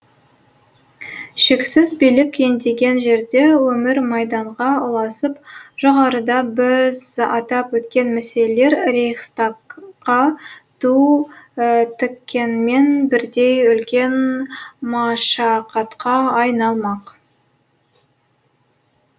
шексіз билік ендеген жерде өмір майданға ұласып жоғарыда біз атап өткен мәселелер рейхстагқа ту тіккенмен бірдей үлкен машақатқа айналмақ